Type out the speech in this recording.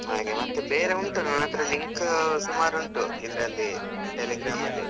ಹಾಗೆ ಮತ್ತೆ ಬೇರೆ ಉಂಟು ನನ್ ಅತ್ರ link ಸುಮಾರು ಉಂಟು ಇದ್ರಲ್ಲಿ Telegram ಅಲ್ಲಿ .